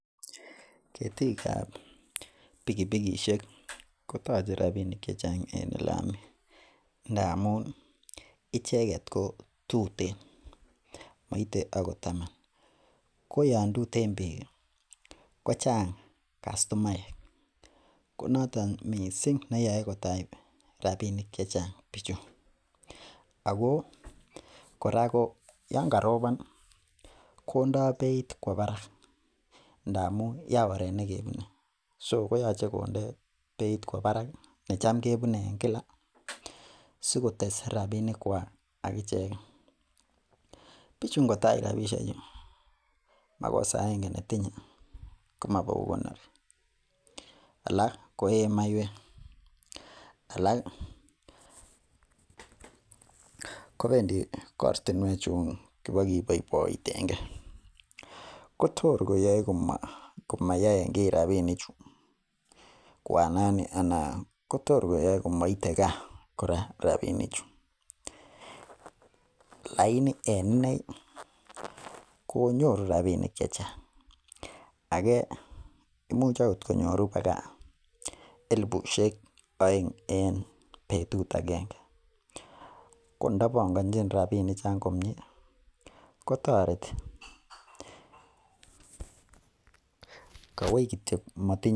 Beekab litaishek tiptem en olemenye komii ng'uany missing'. En olaa menye ko ilbanurabiskek che tos silimut kityo. Laini en oldo age yemo Chang' beek ko komuch agot koit rapishek silng tiptem. Sikotililekitun beek chutet koyoche keyochi kasiit neo missing. Koron koyoche ipbokeswa yenomen beechu atko keringet anan ko tangishek che kikichopchi koyoche kiuun tangishek choto ak iitia kinde kerichek chebo beek kotililit beek en yeng'eten bechuton. Akebua kisub boibusiek cheibu bechu. Yoche kisub boibusiek akesue boibusiek cho kikoye koyoche kebel anan kende age neimbia simochute chabuk beek chegie ndamuun atkochut chabuk en oret anan kochut beekab oret, konyogo konu miando en bik chee bechu , yoche kechobot Yoon kikobutok aketesyi boibusiek.